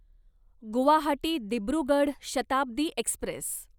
Guwahati Dibrugarh Shatabdi Express